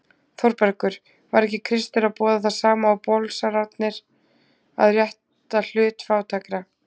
ÞÓRBERGUR: Var ekki Kristur að boða það sama og bolsarnir: að rétta hlut fátækra?